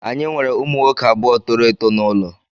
Anyị nwere ụmụ nwoke abụọ toro eto n'ụlọ